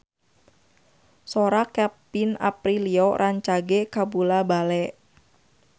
Sora Kevin Aprilio rancage kabula-bale